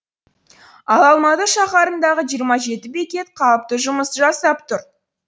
ал алматы шаһарындағы жиырма жеті бекет қалыпты жұмыс жасап тұр